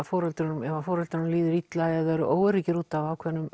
foreldrum ef foreldrum líður illa eða þeir eru óöruggir út af